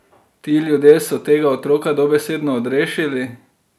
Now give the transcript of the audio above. Ti ljudje so tega otroka dobesedno odrešili!